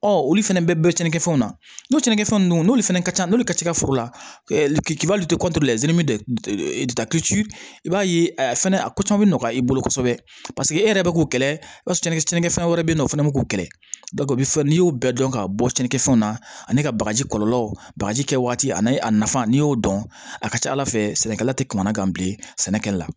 Ɔ olu fana bɛ cɛninkɛfɛnw nakɛfɛnw ninnu n'olu fana ka ca n'olu ka ca foro la k'ibali i b'a ye a fɛnɛ a ko caman bi nɔgɔya i bolo kosɛbɛ e yɛrɛ bɛ k'o kɛlɛ barisa ni cɛnnikɛ fɛn wɛrɛ bɛ yen nɔ o fɛnɛ bɛ k'u kɛlɛ o bɛ fɔ n'i y'o bɛɛ dɔn ka bɔ cɛncɛnfɛnw na ani ka bagaji kɔlɔlɔw bagaji kɛ waati ani a nafa n'i y'o dɔn a ka ca ala fɛ sɛnɛkɛla tɛ kamanagan bilen sɛnɛkɛla la